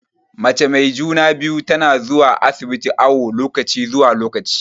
Mace mai juna-biyu tana zuwa asibiti awu lokaci zuwa lokaci.